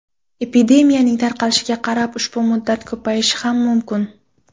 Epidemiyaning tarqalishiga qarab ushbu muddat ko‘payishi ham mumkin.